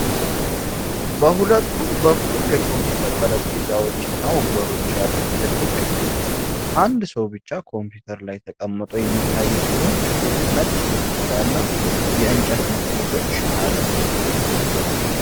በሁለቱም በኩል የኮምፒዩተር ጠረጴዛዎች እና ወንበሮች ያሉት ትልቅ ክፍል ነው። አንድ ሰው ብቻ ኮምፒዩተር ላይ ተቀምጦ የሚታይ ሲሆን፣ ክፍሉ ነጭ ግድግዳና የእንጨት መስኮቶች አሉት።